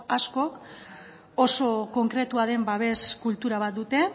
askok oso konkretua den babes kultura bat dute